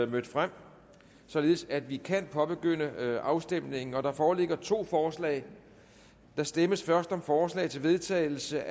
mødt frem således at vi kan påbegynde afstemningen og der foreligger to forslag der stemmes først om forslag til vedtagelse